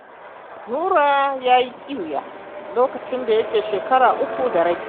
Nura ya yi ƙiwa lokacin da yake shekara uku da rabi